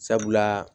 Sabula